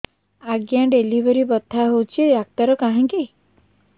ଆଜ୍ଞା ଡେଲିଭରି ବଥା ହଉଚି ଡାକ୍ତର କାହିଁ କି